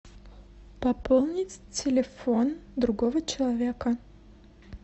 пополнить телефон другого человека